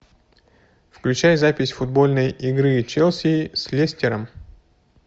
включай запись футбольной игры челси с лестером